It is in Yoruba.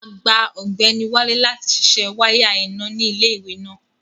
Agbá Ọgbẹnì Wálé láti sísẹ wàya iná ni ilẹ̀-iwe náà.